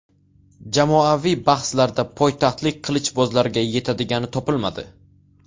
Jamoaviy bahslarda poytaxtlik qilichbozlarga yetadigani topilmadi.